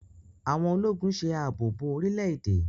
Àwọn Ológùn ṣe ààbò bó orílè-èdè.